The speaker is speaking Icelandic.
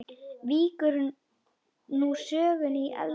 Víkur nú sögunni í eldhús.